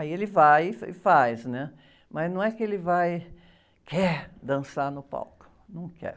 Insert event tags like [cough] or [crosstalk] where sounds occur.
Aí ele vai e, [unintelligible] e faz, né? Mas não é que ele quer dançar no palco, não quer.